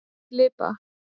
Filippa